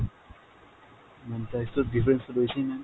ma'am price তো difference তো রয়েছেই ma'am ।